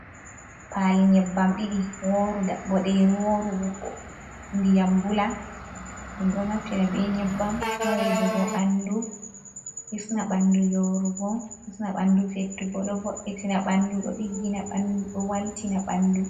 Pali nyebbam ɗiɗi woru boɗeru worubo ndiyam bula. Dum ɗo naftina be nyebbam haujugo bandu a bandu yorugo hisna bandu fettugo, ɗo vo’itina ɓaŋdu, ɗo digina ɓaŋdu, ɗo waltina bandu.